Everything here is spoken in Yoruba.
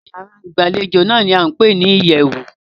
Ìyárá ìgbàlejò náà ní a ń pé ní ìyẹ̀wù.